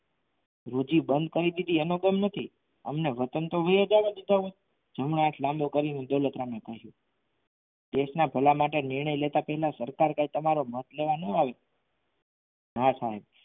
રૂઢિ બંધ કરી દીધી એનો ગમ નથી અમને વતન તો ગયા જાવા દે જવું હોય તો જમણો હાથ લાંબો કરીને દોલતરામે કહ્યું દેશના ભલા માટે નિર્ણય લેતા પહેલા સરકાર કંઈ તમારું મત લેવા ના આવે.